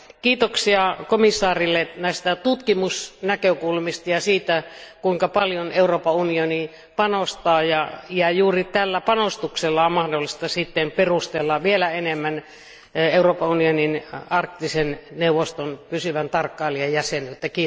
Kiitoksia komission jäsenelle näistä tutkimusnäkökulmista ja siitä kuinka paljon Euroopan unioni panostaa, ja juuri tällä panostuksella on mahdollista sitten perustella vielä enemmän Euroopan unionin Arktisen neuvoston pysyvää tarkkailijajäsenyyttä.